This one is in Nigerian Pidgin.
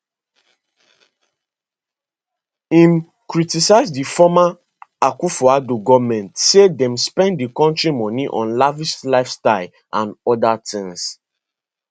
im criticize di former akufoaddo goment say dem spend di kontri moni on lavish lifestyles and oda tins